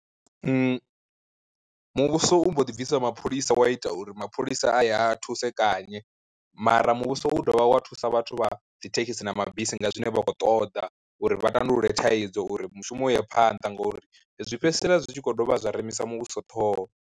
Muvhuso u mbo ḓi bvisa mapholisa wa ita uri mapholisa a ya thusekanye, mara muvhuso u dovha wa thusa vhathu vha dzithekhisi na mabisi nga zwine vha khou ṱoḓa uri vha tandulule thaidzo uri mushumo u ye phanḓa ngori zwi fhedzisela zwi tshi kho dovha zwa rengisa muvhuso ṱhoho.